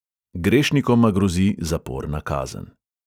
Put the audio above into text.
Grešnikoma grozi zaporna kazen.